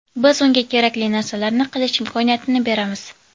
Biz unga kerakli narsalarni qilish imkoniyatini beramiz.